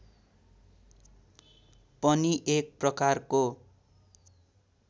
पनि एक प्रकारको